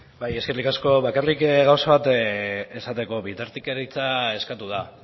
bai eskerrik asko bakarrik gauza bat esateko bitartekaritza eskatu da